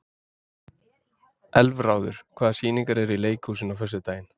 Elfráður, hvaða sýningar eru í leikhúsinu á föstudaginn?